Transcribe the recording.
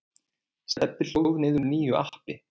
Stebbi hlóð niður nýju appi.